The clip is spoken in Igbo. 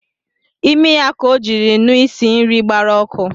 Imi ya ka ọ jiri nụ isi nri gbara ọkụ